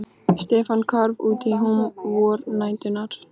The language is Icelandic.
Stefán hvarf út í húm vornæturinnar.